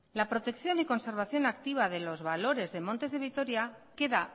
la protección y conservación activa de los valores de montes de vitoria queda